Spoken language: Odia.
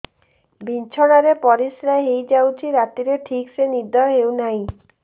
ବିଛଣା ରେ ପରିଶ୍ରା ହେଇ ଯାଉଛି ରାତିରେ ଠିକ ସେ ନିଦ ହେଉନାହିଁ